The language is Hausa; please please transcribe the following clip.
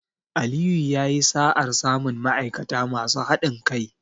Aliyu yayi sa'ar samun ma'aikata masu haɗin kai.